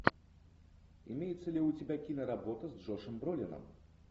имеется ли у тебя киноработа с джошем бролином